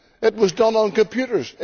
It was done on computers.